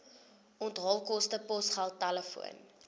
onthaalkoste posgeld telefoon